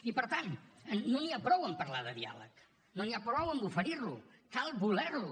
i per tant no n’hi ha prou amb parlar de diàleg no n’hi ha prou amb oferir lo cal voler lo